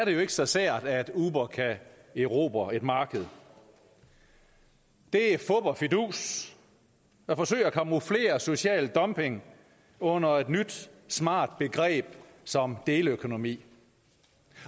jo ikke så sært at uber kan erobre et marked det er fup og fidus at forsøge at camouflere social dumping under et nyt smart begreb som deleøkonomi